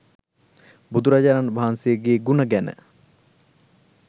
බුදුරජාණන් වහන්සේගේ ගුණ ගැන?